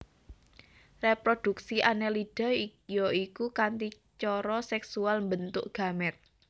Réprodhuksi Annelida ya iku kanthi cara sèksual mbentuk gamèt